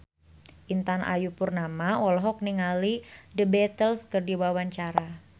Intan Ayu Purnama olohok ningali The Beatles keur diwawancara